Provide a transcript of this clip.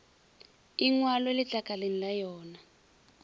e ngwalwe letlakaleng la yona